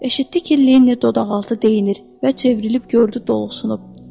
Eşitdi ki, Linni dodaqaltı deyinir və çevrilib gördü dolğusunub.